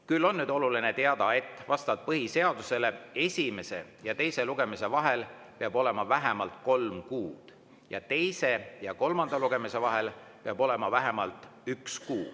Küll on nüüd oluline teada, et vastavalt põhiseadusele peab esimese ja teise lugemise vahel olema vähemalt kolm kuud ja teise ja kolmanda lugemise vahel peab olema vähemalt üks kuu.